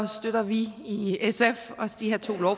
støtter vi i sf også de her to